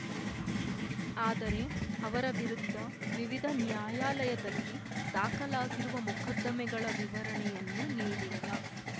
ಆದರೆ ಅವರ ವಿರುದ್ಧ ವಿವಿಧ ನ್ಯಾಯಾಲಯದಲ್ಲಿ ದಾಖಲಾಗಿರುವ ಮೊಕದ್ದಮೆಗಳ ವಿವರಣೆಯನ್ನು ನೀಡಿಲ್ಲ